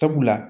Sabula